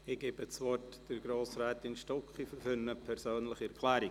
Ich erteile Grossrätin Stucki das Wort für eine persönliche Erklärung.